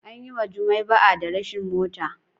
An yi wa Jumai ba'a da rashin mota.